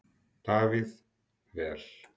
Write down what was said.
Davíð: Vel.